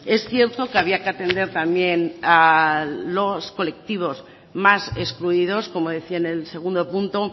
es cierto que había que atender también a los colectivos más excluidos como decía en el segundo punto